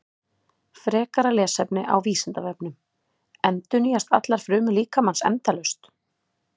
Frekara lesefni á Vísindavefnum: Endurnýjast allar frumur líkamans endalaust?